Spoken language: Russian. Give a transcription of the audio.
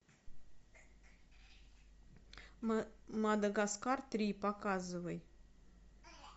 мадагаскар три показывай